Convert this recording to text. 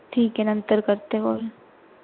ठीक हे नंतर करते call